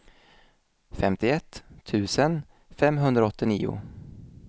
femtioett tusen femhundraåttionio